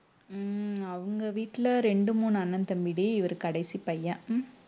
உம் அவங்க வீட்டுல ரெண்டு மூணு அண்ணன் தம்பிடி இவரு கடைசி பையன்